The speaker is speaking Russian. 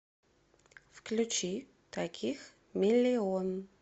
включи таких миллион